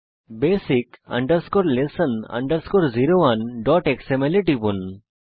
basic lesson 01xml এ টিপুন